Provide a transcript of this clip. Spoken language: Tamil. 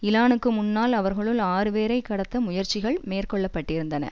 இலானுக்கு முன்னால் அவர்களுள் ஆறு பேரை கடத்த முயற்சிகள் மேற்கொள்ளப்பட்டிருந்தன